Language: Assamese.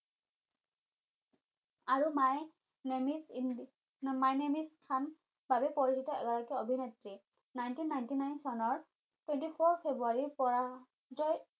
আৰু মাই নেম ইছ খান বাবে পৰিচিত এগৰাকী অভিনেত্ৰী nineteen ninetynine চনৰ twenty four ফেব্ৰুৱাৰীৰ পৰা যায়